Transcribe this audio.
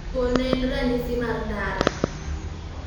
Thuol ne en ranyisi mar ndara.